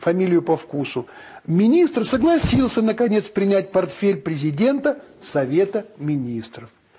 фамилию по вкусу министр согласился наконец принять портфель президента совета министров